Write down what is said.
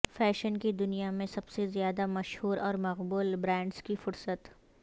fashion کی دنیا میں سب سے زیادہ مشہور اور مقبول برانڈز کی فہرست